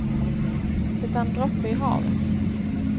Det är en droppe i havet.